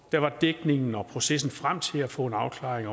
der var dækningen og processen frem til at få en afklaring